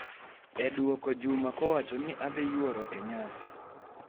e dwoko Juma kowacho ni adhi yworo e nyasi